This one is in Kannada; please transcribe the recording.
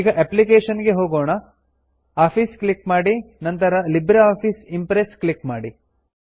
ಈಗ ಅಪ್ಲಿಕೇಶನ್ ಗೆ ಹೋಗೊಣ ಆಫೀಸ್ ಕ್ಲಿಕ್ ಮಾಡಿ ನಂತರ ಲಿಬ್ರೆ ಆಫೀಸ್ ಇಂಪ್ರೆಸ್ ಕ್ಲಿಕ್ ಮಾಡಿ